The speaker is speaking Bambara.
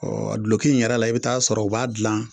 Ɔ duloki in yɛrɛ la, i bɛ t'a sɔrɔ u b'a dilan.